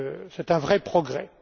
C'est un vrai progrès